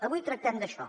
avui tractem d’això